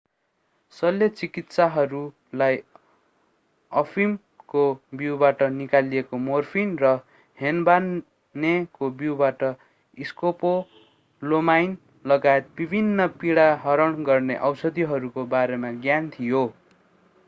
शल्यचिकित्सकहरूलाई अफिमको बीउबाट निकालिएको मोर्फिन र हेनबानेको बीउबाट स्कोपोलोमाइन लगायत विभिन्न पीडाहरण गर्ने औषधिहरूको बारेमा ज्ञान थियो